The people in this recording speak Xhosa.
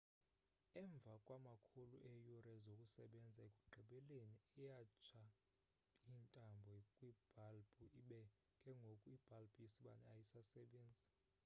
emva kwamakhulu eeyure zokusebenza ekugqibeleni iyatsha intambo kwibhalbhu ibe ke ngoku ibhalbhu yesibane ayisasebenzi